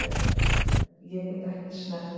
Ég get ekki snert.